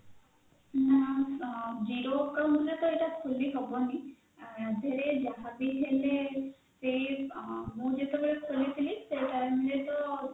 ନା zero account ରେ ତ ଏଇଟା ଖୋଲିହେବନି ୟାଦେହେରେ ଯାହାବି ହେଲେ ସେଇ ମୁଁ ଯେତେବେଳେ ଖୋଲିଥିଲି ସେଇ time ରେ ତ